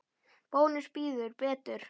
Bónus býður betur.